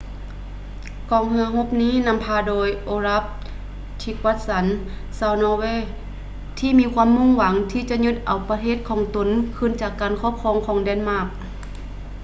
ກອງເຮືອຮົບນີ້ ນຳພາໂດຍ ໂອລັບ ທຼີກວັດສັນ olaf trygvasson ຊາວນໍເວທີ່ມີຄວາມມຸ່ງຫວັງທີ່ຈະຍຶດເອົາປະເທດຂອງຕົນຄືນຈາກການຄອບຄອງຂອງ ເເດນມາກ